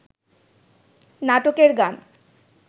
নাটকের গান